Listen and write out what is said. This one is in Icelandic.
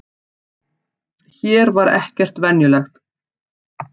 Hér var ekkert venjulegt.